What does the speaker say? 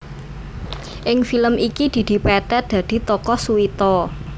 Ing film iki Didi Petet dadi tokoh Suwito